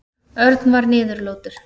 Örn var niðurlútur.